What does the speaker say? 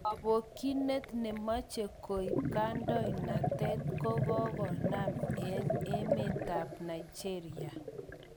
Kobokyinet nemoche koib kadoinatet kokokonam eng emetab Nigeria.